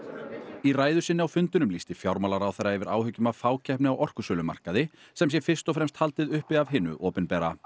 í ræðu sinni á fundinum lýsti fjármálaráðherra yfir áhyggjum af fákeppni á orkusölumarkaði sem sé fyrst og fremst haldið uppi af hinu opinbera